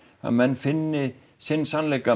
að menn finni sinn sannleika